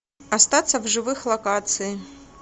остаться в живых локации